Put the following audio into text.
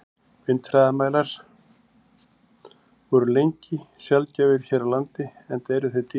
Vindhraðamælar voru lengi sjaldgæfir hér á landi, enda eru þeir dýrir.